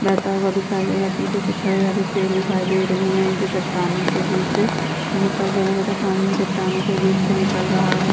बहता हुआ दिखाई दे रहा है पीछे कुछ हरे-हरे पेड़ दिखाई दे रहे है जो चट्टानों के बिच से निकल रहे है तथा पानी में चट्टानों के बिच से निकल रहा है।